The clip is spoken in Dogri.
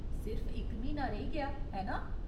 सिर्फ इक म्हीना रेही गेआ, है ना ?